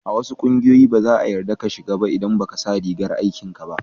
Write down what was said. A wasu kungiyoyi, ba za'a yarda ka shiga ba idan ba ka sa rigan aikin ka ba.